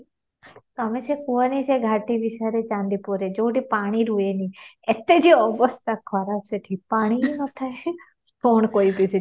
ତମେ ସେ କୁହନି ଘାଟି ବିଷୟରେ ଚାନ୍ଦିପୁରରେ ଯଉଠି ପାଣି ରୁହେନି ଏତେ ଯେ ଅବସ୍ଥା ଖରାପ ସେଠି ପାଣି ବି ନ ଥାଏ କ'ଣ କହିବି ସେଠି